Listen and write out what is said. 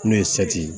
N'o ye ye